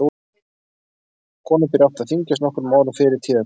Konur byrja oft að þyngjast nokkrum árum fyrir tíðahvörf.